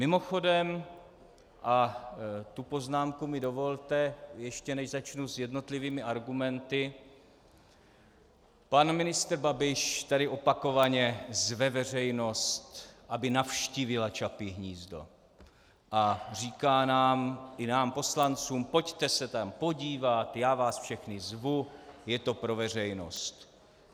Mimochodem, a tu poznámku mi dovolte, ještě než začnu s jednotlivými argumenty, pan ministr Babiš tady opakovaně zve veřejnost, aby navštívila Čapí hnízdo, a říká nám, i nám poslancům, pojďte se tam podívat, já vás všechny zvu, je to pro veřejnost.